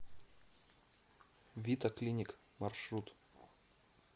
вита клиник маршрут